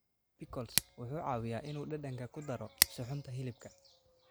Pickles wuxuu caawiyaa inuu dhadhanka ku daro suxuunta hilibka.